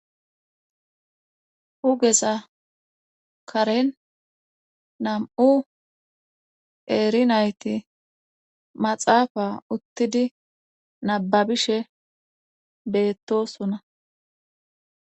hugeza karen nam7u eeri nayti maxaafa uttidi nababishe beettosuna